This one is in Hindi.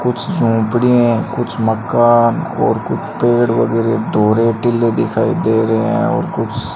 कुछ झोपड़ियां हैं कुछ मकान और कुछ पेड़ वगैरा धोरे डिल्ले दिखाई दे रहे हैं और कुछ --